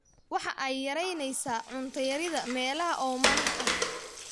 Waxa ay yaraynaysaa cunto yarida meelaha oomanaha ah.